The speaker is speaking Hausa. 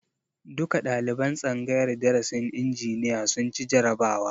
Duka ɗaliban tsangayar darasin injiniya sun ci jarabawa